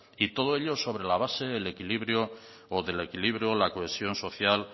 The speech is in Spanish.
y todo ello sobre la base o del equilibrio la cohesión social